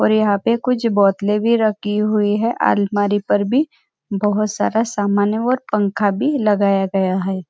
और यहाँ पे कुछ बोतले भी रखी हुई है अलमारी पर भी बहुत सारा समान है और पंखा भी लगाया गया है।